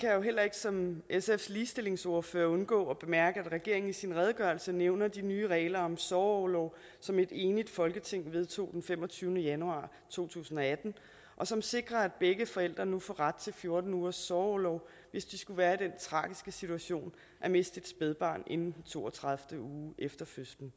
som sfs ligestillingsordfører undgå at bemærke at regeringen i sin redegørelse nævner de nye regler om sorgorlov som et enigt folketing vedtog den femogtyvende januar to tusind og atten og som sikrer at begge forældre nu får ret til fjorten ugers sorgorlov hvis de skulle være i den tragiske situation at miste et spædbarn inden to og tredive uge efter fødslen